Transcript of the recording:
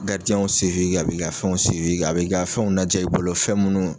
Garidiyɛnw a b'i ka fɛnw a b'i ka fɛnw lajɛ i bolo fɛn minnu